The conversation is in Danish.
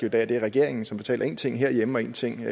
i dag er det er regeringen som fortæller én ting herhjemme og én ting